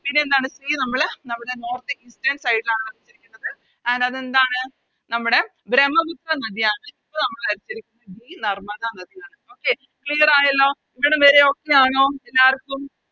ഇനിയെന്താണ് C നമ്മള് നമ്മുടെ North eastern side ലാണ് വരച്ചിരിക്കുന്നത് And അതെന്താണ് നമ്മുടെ ബ്രമ്മപുത്ര നദിയാണ് ഇപ്പൊ നമ്മള് വരച്ചിരിക്കുന്നത് നർമ്മദ നദിയാണ് Okay clear ആയല്ലോ ഇവിടം വരെ Okay ആണോ എല്ലാർക്കും